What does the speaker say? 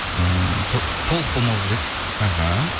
ыыы толық болмау керек іхі